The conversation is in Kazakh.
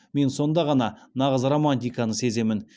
мен сонда ғана нағыз романтиканы сеземін